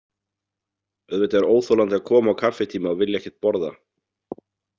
Auðvitað er óþolandi að koma á kaffitíma og vilja ekkert borða.